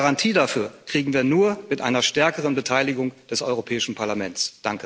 Eine Garantie dafür bekommen wir nur mit einer stärkeren Beteiligung des Europäischen Parlaments.